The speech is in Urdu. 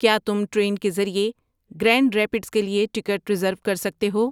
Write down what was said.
کیا تم ٹرین کے ذریعے گرینڈ ریپڈس کے لیے ٹکٹ ریزرو کر سکتے ہو